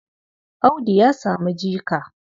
Audu ya samu jika.